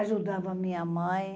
Ajudava a minha mãe.